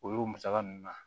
O y'o musaka ninnu na